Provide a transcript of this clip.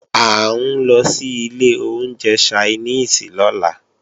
À ń lọ sí ilé oúnjẹ Ṣainíìsì lọ́la